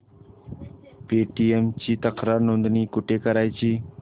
Paytm ची तक्रार नोंदणी कुठे करायची